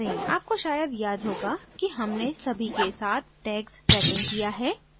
आपको शायद याद होगा कि हमने सभी के साथ tags setting किया है